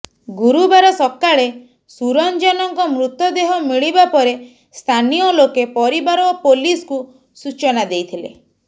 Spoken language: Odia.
ଗୁରୁବାର ସକାଳେ ସୁରଞ୍ଜନଙ୍କ ମୃତଦେହ ମିଳିବା ପରେ ସ୍ଥାନୀୟ ଲୋକେ ପରିବାର ଓ ପୋଲିସକୁ ସୂଚନା ଦେଇଥିଲେ